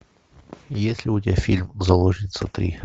есть ли у тебя фильм заложница три